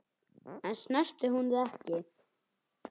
En snertir hún þig ekki?